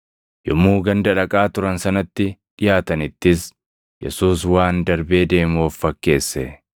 Yommuu ganda dhaqaa turan sanatti dhiʼaatanittis Yesuus waan darbee deemu of fakkeesse.